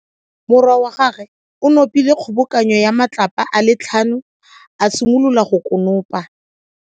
Morwa wa gagwe o nopile kgobokano ya matlapa a le tlhano, a simolola go konopa.